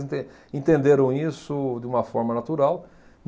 Enten entenderam isso de uma forma natural.